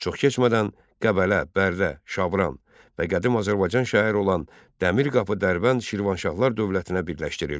Çox keçmədən Qəbələ, Bərdə, Şabran və qədim Azərbaycan şəhəri olan Dəmirqapı Dərbənd Şirvanşahlar dövlətinə birləşdirildi.